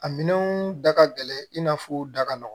A minɛnw da ka gɛlɛn i n'a fɔ u da ka nɔgɔn